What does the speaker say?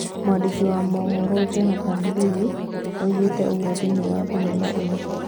Mwandĩki wa mohoro Jonathan Liew oigĩte ũguo thĩinĩ wa thenema ĩyo